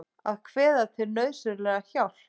Að kveða til nauðsynlega hjálp.